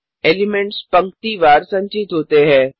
elements पंक्ति वार संचित होते है